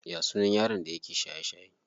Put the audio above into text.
Ya sunan yaron da yake shaye shaye?